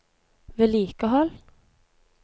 vedlikehold